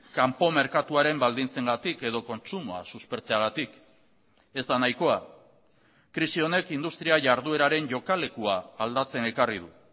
kanpo merkatuaren baldintzengatik edo kontsumoa suspertzeagatik ez da nahikoa krisi honek industria jardueraren jokalekua aldatzen ekarri du